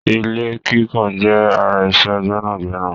Ilé kíkàn jẹ́ ara iṣẹ́ gbẹ́nàgbẹnà.